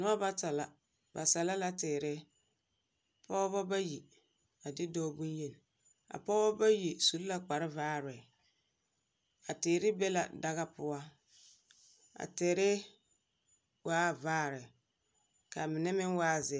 Noba bata la, ba sɛlɛ la teere. Pɔbɔ bayi a de dɔɔ bonyen. A pɔbɔ bayi su la kparvaare. A teere be la daga poa. A teere waa vaare, k'a mine meŋ waa ze...